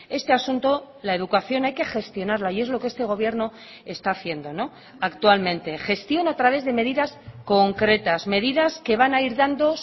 este asunto la educación hay que gestionarla y es lo que este gobierno está haciendo actualmente gestión a través de medidas concretas medidas que van a ir dando